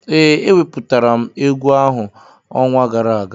Ee, eweputara m egwu ahụ ọnwa gara aga